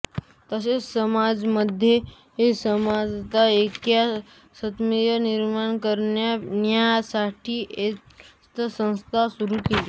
तसेच समाजामध्ये समानता ऐक्य समन्वय निर्माण करण्यासाठीऐक्यवर्धिनी संस्था सुरू केली